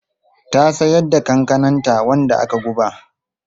Ta siyar da kankananta wanda aka guba.